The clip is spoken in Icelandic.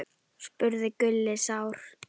spurði Gulli sár.